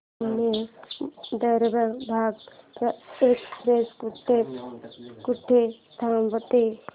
Pune Darbhanga express कुठे कुठे थांबते